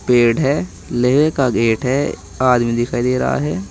पेड़ है लोहे का गेट है आदमी दिखाई दे रहा है।